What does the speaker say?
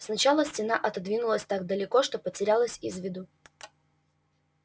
сначала стена отодвинулась так далеко что потерялась из виду